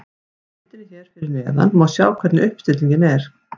Á myndinni hér að neðan má sjá hvernig uppstillingin er.